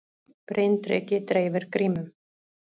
Bryndreki dreifir grímum